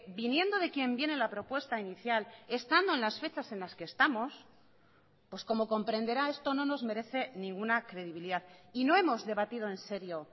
viniendo de quien viene la propuesta inicial estando en las fechas en las que estamos pues como comprenderá esto no nos merece ninguna credibilidad y no hemos debatido en serio